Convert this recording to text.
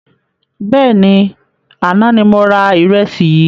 Bẹ́ẹ̀ni, àná ni mo ra ìrẹsì yìí